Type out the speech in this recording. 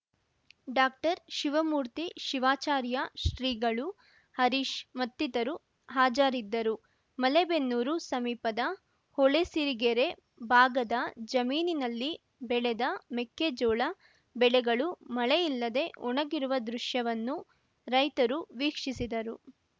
doctor Shivamurthy Shivacharya ಶ್ರೀಗಳು ಹರೀಶ್‌ ಮತ್ತಿತರು ಹಾಜರಿದ್ದರು ಮಲೇಬೆನ್ನೂರು ಸಮೀಪದ ಹೊಳೆಸಿರಿಗೆರೆ ಭಾಗದ ಜಮೀನಿನಲ್ಲಿ ಬೆಳೆದ ಮೆಕ್ಕಜೋಳ ಬೆಳೆಗಳು ಮಳೆಯಿಲ್ಲದೇ ಒಣಗಿರುವ ದೃಶ್ಯವನ್ನು ರೈತರು ವೀಕ್ಷಿಸಿದರು